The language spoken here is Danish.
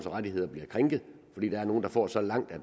rettigheder bliver krænket fordi der er nogle der får så langt at